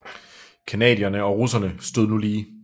Canadierne og russerne stod nu lige